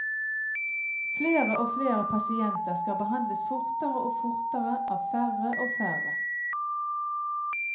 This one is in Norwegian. Flere og flere pasienter skal behandles fortere og fortere av færre og færre.